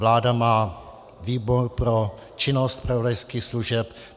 Vláda má výbor pro činnost zpravodajských služeb.